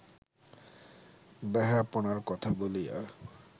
বেহায়াপনার কথা বলিয়া